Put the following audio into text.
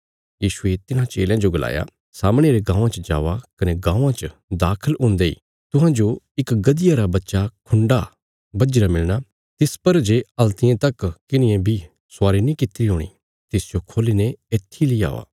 यीशुये तिन्हां चेलयां जो गलाया सामणे रे गाँवां च जावा कने गाँवां च दाखल हुंदे इ तुहांजो इक गधिया रा बच्चा खुण्डा बझीरा मिलणा तिस पर जे हल्तिये तक किन्हिये बी स्वारी नीं कीतिरा हूणी तिसजो खोल्ली ने येत्थी ली औआ